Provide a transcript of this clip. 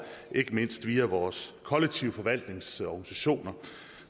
ikke mindst via vores kollektiv forvaltnings organisationer